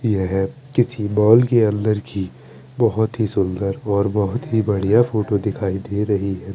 यह किसी मॉल के अंदर की बहोत ही सुंदर और बहोत ही बढ़िया फोटो दिखाई दे रही रही है।